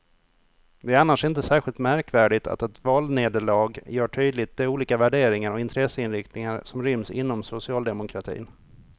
Det är annars inte särskilt märkvärdigt att ett valnederlag gör tydligt de olika värderingar och intresseinriktningar som ryms inom socialdemokratin.